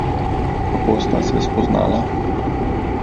Kako sta se spoznala?